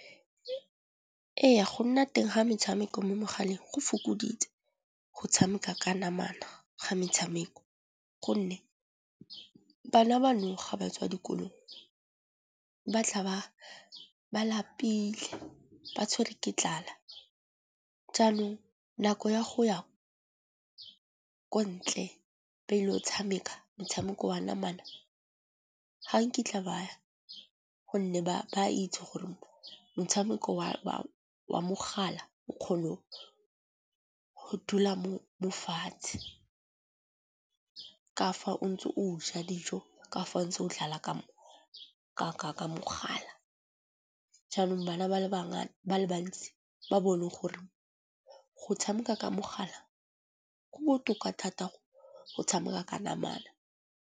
Ee, go nna teng ga metshameko mo megaleng go fokoditse go tshameka ka namana ga metshameko. Gonne bana ba nou ga ba tswa dikolong batla ba lapile ba tshwere ke tlala. Jaanong nako ya go ya ko ntle ba ile go tshameka motshameko wa namana ga nkitla ba ya gonne ba itse gore motshameko wa mogala o kgona go dula mofatshe. Ka fa o ntse o ja dijo ka fa o ntse o dlala ka mogala. Jaanong ba le bantsi ba bone gore go tshameka ka mogala go botoka thata go tshameka ka namana.